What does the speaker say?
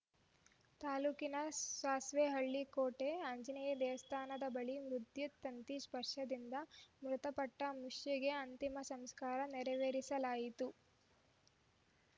ತಾಲೂಕಿನ ಸಾಸಿವೆ ಹಳ್ಳಿ ಕೋಟೆ ಆಂಜನೇಯ ದೇವಸ್ಥಾನದ ಬಳಿ ವಿದ್ಯುತ್‌ ತಂತಿ ಸ್ಪರ್ಶದಿಂದ ಮೃತಪಟ್ಟಮುಷ್ಯಗೆ ಅಂತಿಮ ಸಂಸ್ಕಾರ ನೆರವೇರಿಸಲಾಯಿತು